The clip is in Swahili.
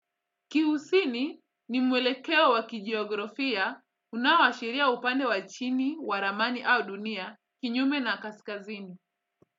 Kusini ni mwelekeo wa kijeografia unaoashiria upande wa chini, wa ramani au dunia, kinyume na kaskazini.